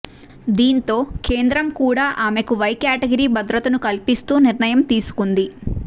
దీంతో కేంద్రం కూడా ఆమెకు వై కేటగిరీ భద్రతను కల్పిస్తూ నిర్ణయం తీసుకుంది